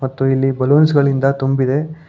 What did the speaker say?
ಮತ್ತು ಇಲ್ಲಿ ಬಲೂನ್ಸ್ ಗಳಿಂದ ತುಂಬಿದೆ.